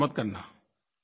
तो ऐसा मत करना